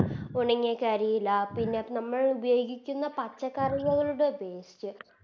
ഉണങ്ങിയ കരിയില പിന്നെ നമ്മളുപയോഗിക്കുന്ന പച്ചക്കറികളുടെ Waste